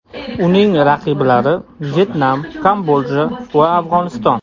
Uning raqiblari: Vyetnam, Kambodja va Afg‘oniston.